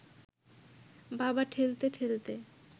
বাবা ঠেলতে ঠেলতে